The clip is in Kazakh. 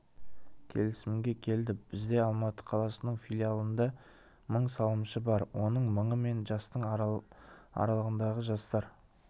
келісімге келді бізде алматы қаласының филиалында мың салымшы бар оның мыңы мен жастың аралығындағы жастар